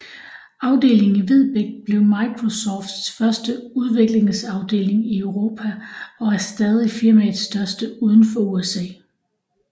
Afdelingen i Vedbæk blev Microsofts første udviklingsafdeling i Europa og er stadig firmaets største uden for USA